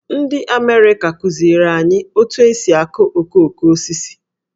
Ndị Amerịka kụziere anyị otu esi akụ okoko osisi.